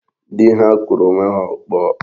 Dị ha kụrụ onwe ha ọkpọ.